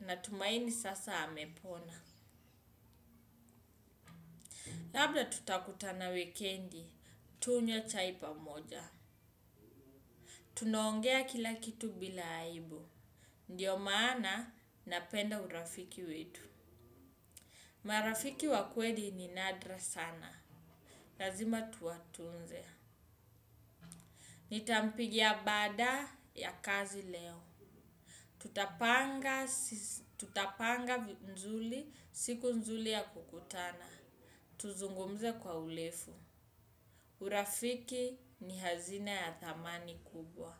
na tumaini sasa amepona. Labda tutakutana wikendi. Tunywe chai pamoja. Tunaongea kila kitu bila aibu. Ndiyo maana napenda urafiki wetu. Marafiki wa kweli ni nadra sana. Lazima tuwatunze. Nitampigia baada ya kazi leo. Tutapanga. Tutapanga vizuri siku nzuri ya kukutana. Tuzungumze kwa urefu. Urafiki ni hazina ya thamani kubwa.